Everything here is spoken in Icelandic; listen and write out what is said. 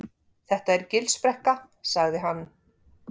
Þetta er Gilsbrekka sagði hann.